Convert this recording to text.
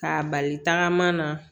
K'a bali tagama na